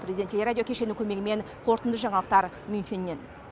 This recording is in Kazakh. президент телерадио кешенінің көмегімен қорытынды жаңалықтар мюнхеннен